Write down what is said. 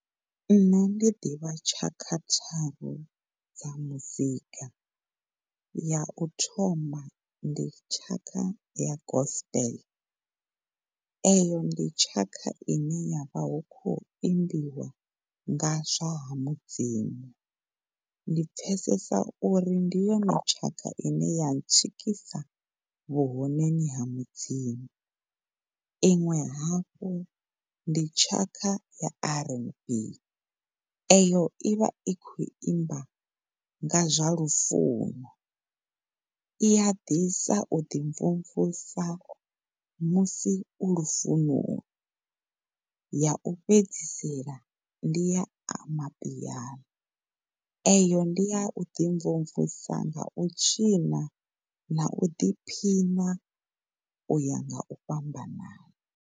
Ṋne ndi ḓivha tshakha tharu dza muzika. Ya u thoma ndi tshaka ya gospel, eyo ndi tshaka ine ya vha hu khou imbiwa nga zwa ha mudzimu ndi pfesesa uri ndi yone tshaka ine ya tswikisa vhu honeni ha mudzimu. Iṅwe hafhu ndi tshaka ya RnB, eyo i vha i khou imba nga zwa lufuno i ya ḓisa u ḓi mvumvusa musi u lufunoni. Ya u fhedzisela ndi ya amapiano, eyo ndi ya u ḓi mvumvusa nga u tshina na u ḓiphina u ya nga u fhambanana.